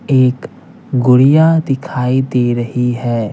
एक गुड़िया दिखाई दे रही है।